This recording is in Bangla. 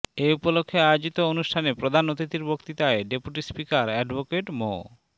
এ উপলক্ষে আয়োজিত অনুষ্ঠানে প্রধান অতিথির বক্তৃতায় ডেপুটি স্পিকার অ্যাডভোকেট মো